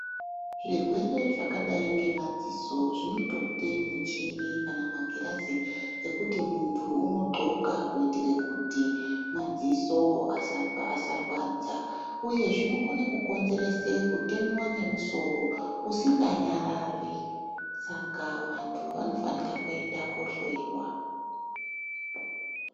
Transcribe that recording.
Zvirwere zvakadai nemadziso zvinotoda michini kana magirazi ekuti muntu unohonka kuitira kuti madziso asarwadza uye zvinokona kukonzeresa kutemewa nemusoro usinganyararinsaka vantu vanofana kuenda kohloiwa.